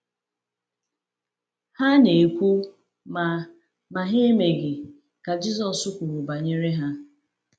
“Ha na-ekwu, ma ma ha emeghị,” ka Jisọs kwuru banyere ha.